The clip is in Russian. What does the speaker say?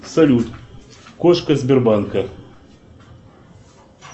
салют кошка сбербанка